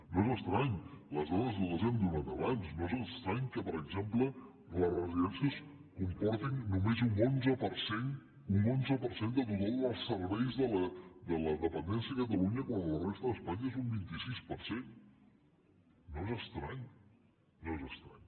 no és estrany les dades les hem donat abans no és estrany que per exemple les residències comportin només un onze per cent del total dels serveis de la dependència a catalunya quan a la resta d’espanya és un vint sis per cent no és estrany no és estrany